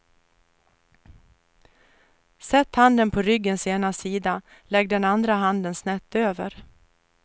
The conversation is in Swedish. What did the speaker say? Sätt handen på ryggens ena sida, lägg den andra handen snett över.